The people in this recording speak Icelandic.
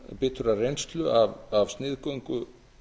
biturrar reynslu af sniðgöngu